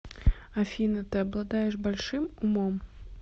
афина ты обладаешь большим умом